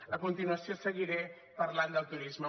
a continuació seguiré parlant del turisme